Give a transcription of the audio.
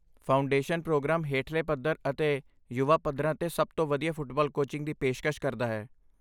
Foundation programme ਹੇਠਲੇ ਪੱਧਰ ਅਤੇ ਯੁਵਾ ਪੱਧਰਾਂ 'ਤੇ ਸਭ ਤੋਂ ਵਧੀਆ ਫੁੱਟਬਾਲ ਕੋਚਿੰਗ ਦੀ ਪੇਸ਼ਕਸ਼ ਕਰਦਾ ਹੈ।